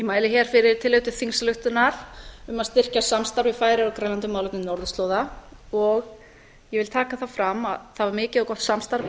mæli hér fyrri tillögu til þingsályktunar um að styrkja samstarf við færeyjar og grænland um málefni norðurslóða ég vil taka það fram að það var mikið og gott samstarf í